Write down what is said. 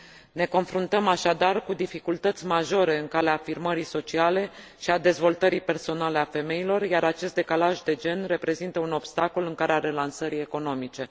Ne confruntăm, așadar, cu dificultăți majore în calea afirmării sociale și a dezvoltării personale ale femeilor, iar acest decalaj de gen reprezintă un obstacol în calea relansării economice.